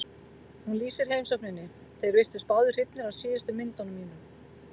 Hún lýsir heimsókninni: Þeir virtust báðir hrifnir af síðustu myndunum mínum.